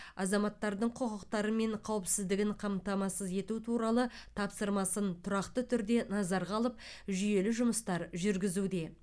азаматтардың құқықтары мен қауіпсіздігін қамтамасыз ету туралы тапсырмасын тұрақты түрде назарға алып жүйелі жұмыстар жүргізуде